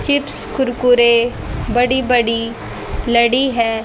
Chips Kurkure बड़ी बड़ी लड़ी है।